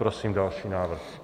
Prosím další návrh.